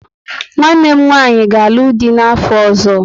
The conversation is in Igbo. Nwanne m nwanyị ga alụ dị n'afọ ọzọ